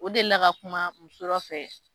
O delila ka kuma muso fɛ